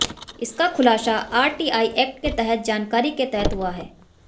इसका खुलासा R T I act के तहत जानकारी के तहत हुआ है